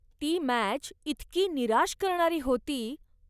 ती मॅच इतकी निराश करणारी होती.